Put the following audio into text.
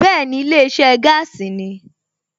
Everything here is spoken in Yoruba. Bẹ́ẹ̀ni, ilé iṣẹ́ gáàsì ni